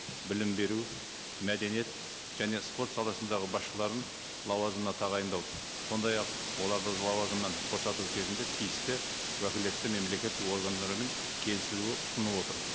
білім беру мәдениет және спорт саласындағы басшыларын лауазымына тағайындау сондай ақ оларды лауазымнан босату кезінде тиісті уәкілетті мемлекеттік органдарымен келісілуі ұсынылып отыр